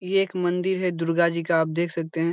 इ एक मंदिर है दुर्गा जी का आप देख सकते हैं।